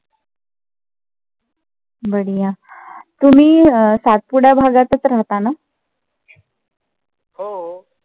बढीया. तुम्ही अं सातपुडा भागातच राहता ना?